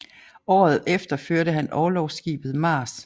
Året efter førte han orlogsskibet Mars